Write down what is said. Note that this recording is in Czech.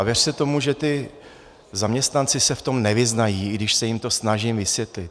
A věřte tomu, že ti zaměstnanci se v tom nevyznají, i když se jim to snažím vysvětlit.